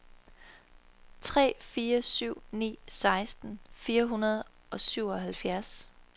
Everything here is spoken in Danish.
tre fire syv ni seksten fire hundrede og syvoghalvfjerds